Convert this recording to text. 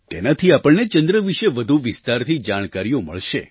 તેનાથી આપણને ચંદ્ર વિશે વધુ વિસ્તારથી જાણકારીઓ મળશે